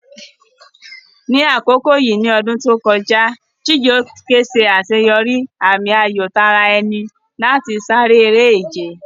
Ní àkókò yìí ní ọdún tó kọjá, Chijioke ṣe àṣeyọrí àmì-ayò ti ara ẹni láti sáré eré-ìje.